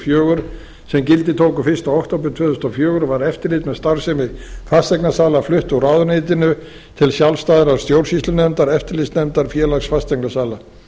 fjögur sem gildi tóku fyrsta október tvö þúsund og fjögur var eftirlit með starfsemi fasteignasala flutt úr ráðuneytinu til sjálfstæðrar stjórnsýslunefndar eftirlitsnefndar félags fasteignasala